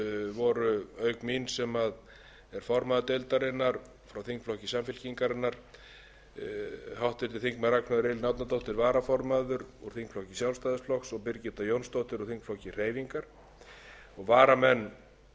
voru auk mín sem er formaður deildarinnar frá þingflokki samfylkingarinnar háttvirtir þingmenn ragnheiður e árnadóttir varaformaður úr þingflokki sjálfstæðisflokks og birgitta jónsdóttir úr þingflokki hreyfingarinnar varamenn eru háttvirtir þingmenn